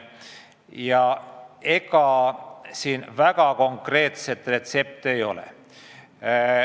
Ja ega siin väga konkreetset retsepti ei ole.